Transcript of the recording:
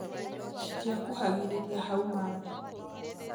Citia kuhagĩrĩria hau marĩ.